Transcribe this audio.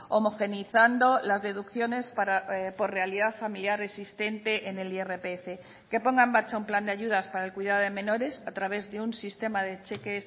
homogeneizando las deducciones por realidad familiar existente en el irpf que ponga en marcha un plan de ayudas para el cuidado de menores a través de un sistema de cheque